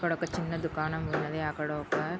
ఇక్కడ ఒక చిన్న దుకాణం ఉన్నది అక్కడ ఒక--